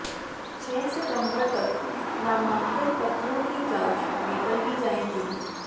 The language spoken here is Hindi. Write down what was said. छह सितंबर तक नामांकन पत्रों की जांच पूरी कर ली जाएगी